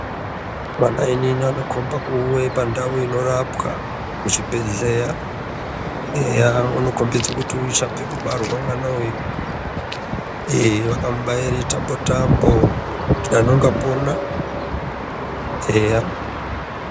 .Mwana anokombe kuve pandau inorapwa muchibhehleya eya unokombidze kuti uchabve kubarwa mwana uwu. Ehe vakamubaire tambo-tambo kuti dani ungapona, eya.